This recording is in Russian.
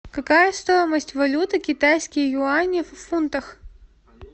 какая стоимость валюты китайские юани в фунтах